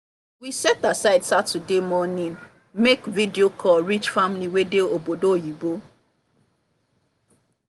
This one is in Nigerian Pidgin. we set aside saturday morning make video call reach family wey dey obodo oyibo